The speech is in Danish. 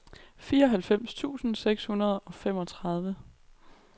fireoghalvfems tusind seks hundrede og femogtredive